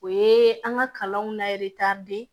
O ye an ka kalanw la